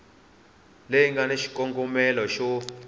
leyi nga na xikongomelo xo